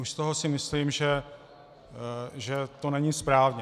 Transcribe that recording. Už z toho si myslím, že to není správně.